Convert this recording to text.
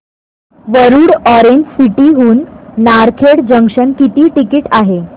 Warud orange city हून Narkhed junction किती ticket आहे